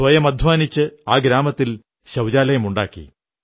സ്വയം അധ്വാനിച്ച് ആ ഗ്രാമത്തിൽ ശൌചാലയമുണ്ടാക്കി